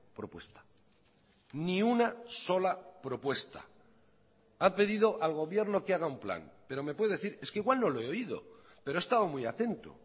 propuesta ni una sola propuesta ha pedido al gobierno que haga un plan pero me puede decir es que igual no lo he oído pero he estado muy atento